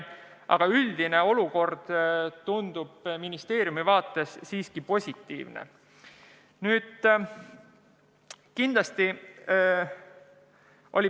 Aga üldine olukord on ministeeriumi arvates siiski positiivne.